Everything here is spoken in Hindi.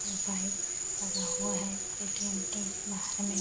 और बाइक लगा हुआ है एटीएम के बाहर में --